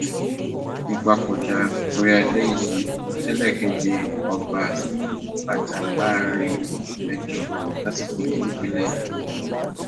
ìpapòdà orí adé yìí lélẹkẹjẹ ọba tí yóò wájà láàrin oṣù mẹjọ sásìkò yìí nípínlẹ ọyọ